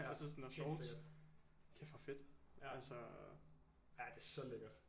Ja helt sikkert kæft hvor fedt ja det er så lækkert